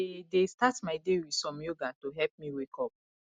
i dey dey start my day with some yoga to help me wake up